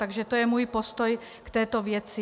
Takže to je můj postoj k této věci.